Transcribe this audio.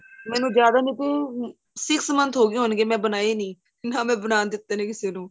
ਮੈਨੂੰ ਜਿਆਦਾ ਨਹੀਂ ਤੇ six month ਹੋਗੇ ਹੋਣਗੇ ਮੈਂ ਬਣਾਏ ਨਹੀਂ ਨਾਂ ਮੈਂ ਬਣਾਨ ਦਿੱਤੇ ਨੇ ਕਿਸੇ ਨੂੰ